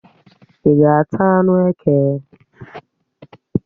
Ị́ ga-ata anụ eke?